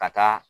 Ka taa